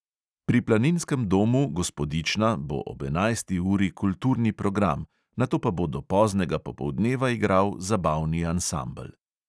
Pri planinskem domu gospodična bo ob enajsti uri kulturni program, nato pa bo do poznega popoldneva igral zabavni ansambel.